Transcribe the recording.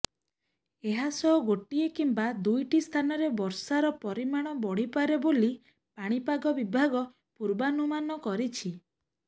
ଏହାସହ ଗୋଟିଏ କିମ୍ବା ଦୁଇଟି ସ୍ଥାନରେ ବର୍ଷାର ପରିମାଣ ବଢିପାରେ ବୋଲି ପାଣିପାଗ ବିଭାଗ ପୂର୍ବାନୁମାନ କରିଛି